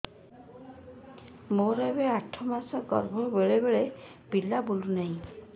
ମୋର ଏବେ ଆଠ ମାସ ଗର୍ଭ ବେଳେ ବେଳେ ପିଲା ବୁଲୁ ନାହିଁ